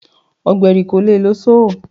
Ọ̀gbẹ̀rì kò le lo Sọ́họ̀.